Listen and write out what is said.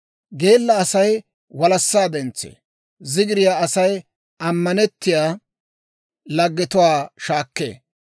Geella Asay walassaa dentsee; zigiriyaa Asay ammanettiyaa laggetuwaa shaakkee.